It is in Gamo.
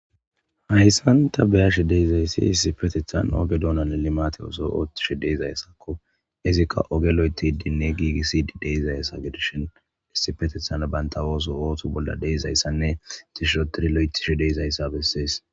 Hayssan ta beyashi deyizayssi issipetethan oge donan limate oso oottishi deezayssakko izikka oge loyeti dinne giigissi deizayssa gedishin issipetethan banta wooso ootu bolla deizayssanne tishotiri lo'etishi deizayssa bessees.